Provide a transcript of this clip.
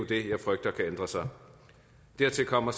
det jeg frygter kan ændre sig dertil kommer